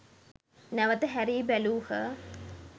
නැවත හැරී බැලූහ.